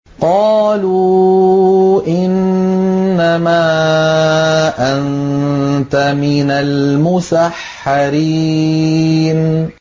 قَالُوا إِنَّمَا أَنتَ مِنَ الْمُسَحَّرِينَ